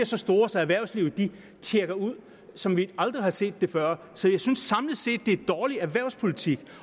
så store så erhvervslivet ville tjekke ud som vi aldrig har set før så jeg synes samlet set at det er en dårlig erhvervspolitik